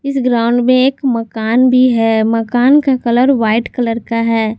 इस ग्राउंड में एक मकान भी है मकान का कलर व्हाइट कलर का है।